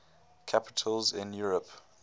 capitals in europe